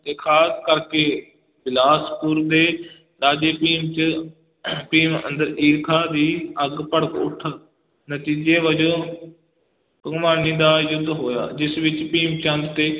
ਤੇ ਖਾਸ ਕਰਕੇ ਬਿਲਾਸਪੁਰ ਦੇ ਰਾਜੇ ਭੀਮ ਚ ਭੀਮ ਅੰਦਰ ਈਰਖਾ ਦੀ ਅੱਗ ਭੜਕ ਉਠ, ਨਤੀਜੇ ਵਜੋਂ ਭੰਗਾਣੀ ਦਾ ਯੁੱਧ ਹੋਇਆ, ਜਿਸ ਵਿਚ ਭੀਮ ਚੰਦ ਤੇ